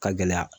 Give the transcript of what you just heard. Ka gɛlɛya